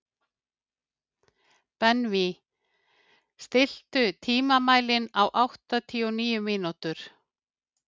Benvý, stilltu tímamælinn á áttatíu og níu mínútur.